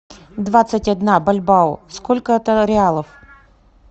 двадцать одна бальбао сколько это реалов